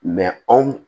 anw